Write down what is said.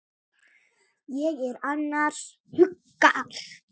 Ég er annars hugar.